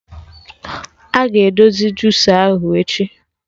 Aga edozi jusa ahụ echi